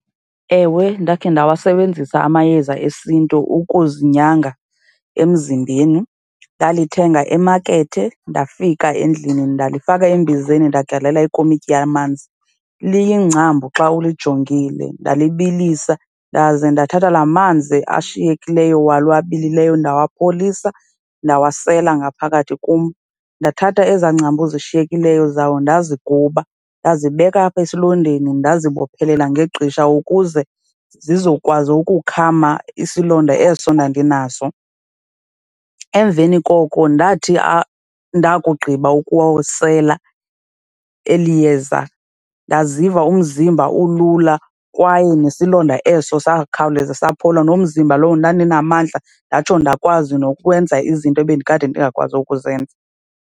Ewe, ndakhe ndawasebenzisa amayeza esiNtu ukuzinyanga emzimbeni. Ndalithenga emakethe ndafika endlini ndalifaka embizeni ndagalela ikomityi yamanzi. Liyingcambu xa ulijongile, ndalibalisa ndaze ndathatha la manzi ashiyekileyo walo abilileyo ndawapholisa, ndawasela ngaphakathi kum. Ndathatha ezaa ngcambu zishiyekileyo zawo ndaziguba, ndazibeka apha esilondeni ndazibophelela ngegqisha ukuze zizokwazi ukukhama isilonda eso endandinazo. Emveni koko ndathi ndakugqiba ukuwasela eli yeza ndaziva umzimba ulula kwaye enesilonda eso sakhawuleze saphola, nomzimba lowo ndandinamandla ndatsho ndakwazi nokwenza izinto ebendikade ndingakwazi ukuzenza.